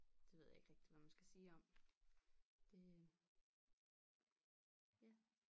Det ved jeg ikke rigtig hvad man skal sige om det ja